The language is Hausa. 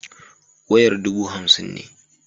Wayar dubu hamsin ne.